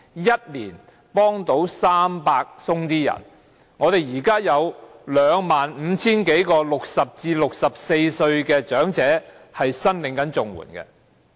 一年只能成功協助300多人，我們現時有25000多名60歲至64歲的長者在申領綜援。